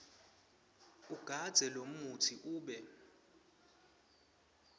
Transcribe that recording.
ugandze lomutsi ube